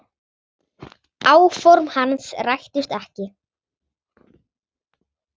Áform hans rættust ekki.